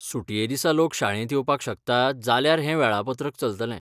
सुटये दिसा लोक शाळेंत येवपाक शकतात जाल्यार हें वेळापत्रक चलतलें.